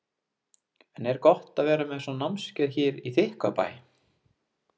En er gott að vera með svona námskeið hér í Þykkvabæ?